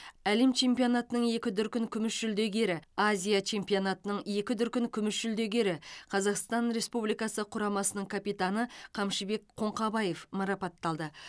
әлем чемпионатының екі дүркін күміс жүлдегері азия чемпионатының екі дүркін күміс жүлдегері қазақстан республикасы құрамасының капитаны қамшыбек қоңқабаев марапатталды